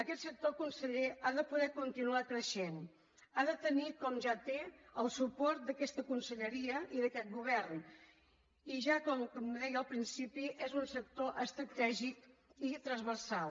aquest sector conseller ha de poder continuar creixent ha de tenir com ja el té el suport d’aquesta conselleria i d’aquest govern i ja com deia al principi és un sector estratègic i transversal